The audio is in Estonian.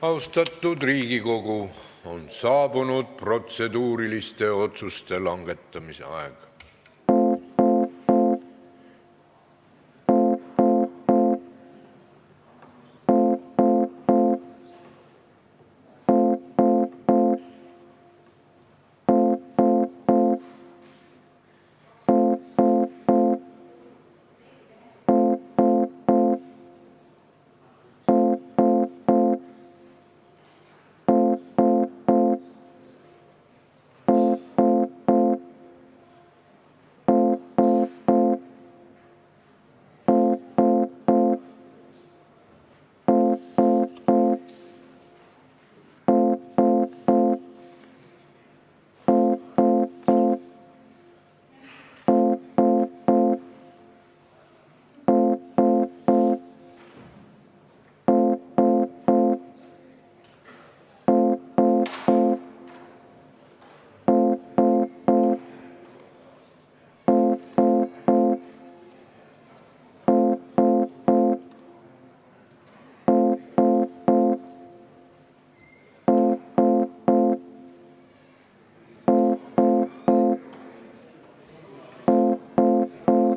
Austatud Riigikogu, on saabunud protseduuriliste otsuste langetamise aeg.